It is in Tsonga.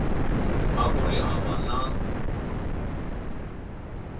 a ku ri hava na